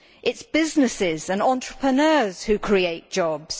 it is businesses and entrepreneurs who create jobs.